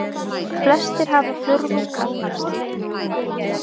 Flestir hafa fjórðung af nafni.